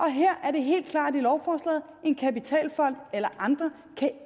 her er det helt klart i lovforslaget at en kapitalfond eller andre